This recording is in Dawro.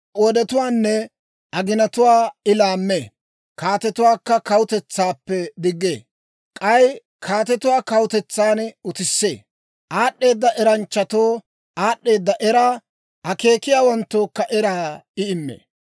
Wodetuwaanne aginatuwaa I laammee. Kaatetuwaa kawutetsaappe diggee; k'ay kaatetuwaa kawutetsan utissee. Aad'd'eeda eranchchatoo aad'd'eeda eraa, akeekiyaawanttookka eraa I immee.